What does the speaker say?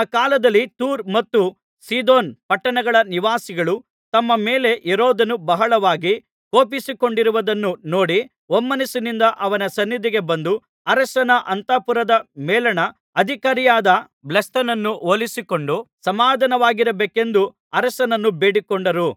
ಆ ಕಾಲದಲ್ಲಿ ತೂರ್ ಮತ್ತು ಸೀದೋನ್ ಪಟ್ಟಣಗಳ ನಿವಾಸಿಗಳು ತಮ್ಮ ಮೇಲೆ ಹೆರೋದನು ಬಹಳವಾಗಿ ಕೋಪಿಸಿಕೊಂಡಿರುವುದನ್ನು ನೋಡಿ ಒಮ್ಮನಸ್ಸಿನಿಂದ ಅವನ ಸನ್ನಿಧಿಗೆ ಬಂದು ಅರಸನ ಅಂತಃಪುರದ ಮೇಲಣ ಅಧಿಕಾರಿಯಾದ ಬ್ಲಾಸ್ತನನ್ನು ಒಲಿಸಿಕೊಂಡು ಸಮಾಧಾನವಾಗಿರಬೇಕೆಂದು ಅರಸನನ್ನು ಬೇಡಿಕೊಂಡರು